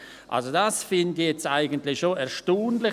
Eigentlich finde ich dies jetzt schon erstaunlich.